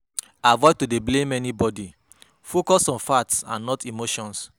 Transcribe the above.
Avoid to dey blame anybody, focus on facts and not emotions